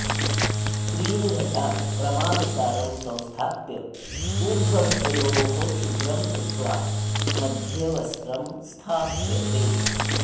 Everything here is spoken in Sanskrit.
त्रीन् घटान् क्रमानुसारं संस्थाप्य ऊर्ध्वघटयोः छिद्रं कृत्वा मध्ये वस्त्रं स्थाप्यते